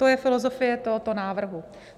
To je filozofie tohoto návrhu.